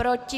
Proti?